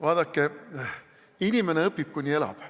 Vaadake, inimene õpib, kuni elab.